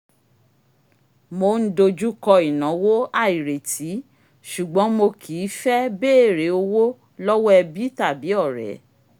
mo n dojú kọ́ ìnáwó àìrètí ṣùgbọ́n mo kì í fẹ́ béèrè owó lọ́wọ́ ẹbí tàbí ọ̀rẹ́